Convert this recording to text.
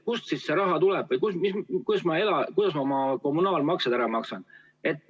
Kust siis raha tuleb või kuidas ma oma kommunaalmaksed ära maksan?